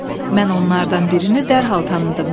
Mən onlardan birini dərhal tanıdım.